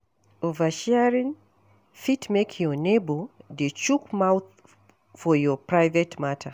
Oversharing fit make your neighbour dey chook mouth for your private matter